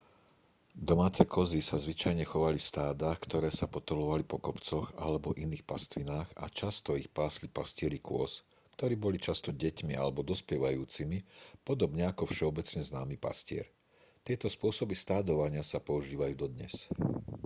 domáce kozy sa zvyčajne chovali v stádach ktoré sa potulovali po kopcoch alebo iných pastvinách a často ich pásli pastieri kôz ktorí boli často deťmi alebo dospievajúcimi podobne ako všeobecne známy pastier tieto spôsoby stádovania sa používajú dodnes